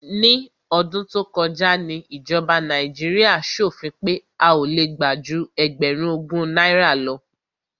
Ní ọdún tó kọjá ni ìjọba Nàíjíríà ṣòfin pé a ò le gbà ju ẹgbẹ̀rún ogún náírà lọ.